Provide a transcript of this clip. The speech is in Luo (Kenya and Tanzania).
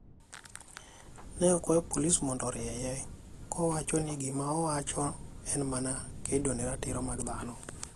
Ne okwayo polis mondo orieye, kowacho ni gima owacho en mana kedo ne ratiro mag dhano.